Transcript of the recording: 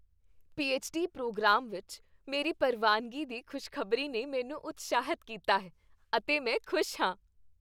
PhD programme ਵਿੱਚ ਮੇਰੀ ਪ੍ਰਵਾਨਗੀ ਦੀ ਖੁਸ਼ਖ਼ਬਰ ੀ ਨੇ ਮੈਨੂੰ ਉਤਸ਼ਾਹਿਤ ਕੀਤਾ ਹੈ ਅਤੇ ਮੈਂ ਖੁਸ਼ ਹਾਂ।